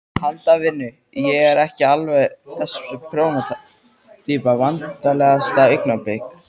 Handavinnu, ég er ekki alveg þessi prjóna týpa Vandræðalegasta augnablik?